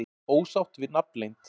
Ósátt við nafnleynd